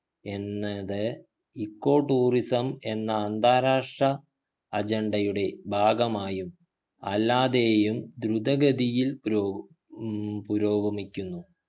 എന്നത് echo tourism എന്ന അന്താരാഷ്ട്ര agenda യുടെ ഭാഗമായും അല്ലാതെയും ദ്രുത ഗതിയിൽ പുരോ ഉം പുരോഗമിക്കുന്നു